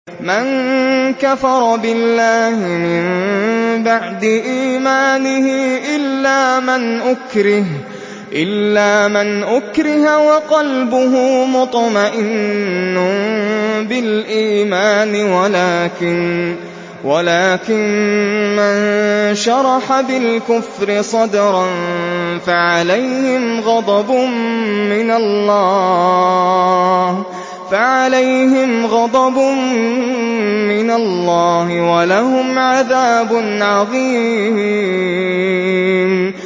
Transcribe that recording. مَن كَفَرَ بِاللَّهِ مِن بَعْدِ إِيمَانِهِ إِلَّا مَنْ أُكْرِهَ وَقَلْبُهُ مُطْمَئِنٌّ بِالْإِيمَانِ وَلَٰكِن مَّن شَرَحَ بِالْكُفْرِ صَدْرًا فَعَلَيْهِمْ غَضَبٌ مِّنَ اللَّهِ وَلَهُمْ عَذَابٌ عَظِيمٌ